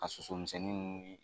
A misɛnnin ninnu